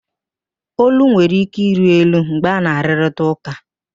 Ólú nwere ike ịrị elu mgbe ana-arụrịta ụka